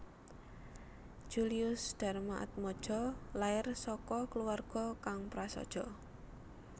Julius Darmatmadja lair saka kluwarga kang prasaja